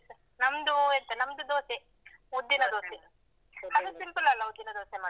ನಮ್ದು ಎಂತ ನಮ್ದು ದೋಸೆ ಉದ್ದಿನ ದೋಸೆ. ಅದು simple ಅಲ್ಲ ಉದ್ದಿನ ದೋಸೆ ಮಾಡೋದು.